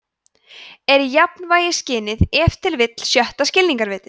„er jafnvægisskynið ef til vill sjötta skilningarvitið“